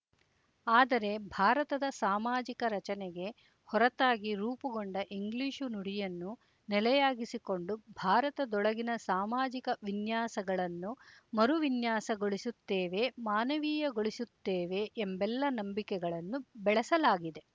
ಆದರೆ ಭಾರತದ ಸಾಮಾಜಿಕ ರಚನೆಗೆ ಹೊರತಾಗಿ ರೂಪುಗೊಂಡ ಇಂಗ್ಲಿಶು ನುಡಿಯನ್ನು ನೆಲೆಯಾಗಿಸಿಕೊಂಡು ಭಾರತದೊಳಗಿನ ಸಾಮಾಜಿಕ ವಿನ್ಯಾಸಗಳನ್ನು ಮರುವಿನ್ಯಾಸಗೊಳಿಸುತ್ತೇವೆ ಮಾನವೀಯಗೊಳಿಸುತ್ತೇವೆ ಎಂಬೆಲ್ಲ ನಂಬಿಕೆಗಳನ್ನು ಬೆಳಸಲಾಗಿದೆ